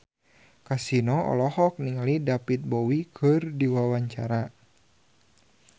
Kasino olohok ningali David Bowie keur diwawancara